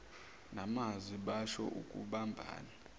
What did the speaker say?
ngamazwi basho ukubambana